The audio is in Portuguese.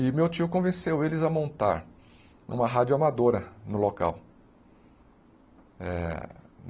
E meu tio convenceu eles a montar uma rádio amadora no local. Eh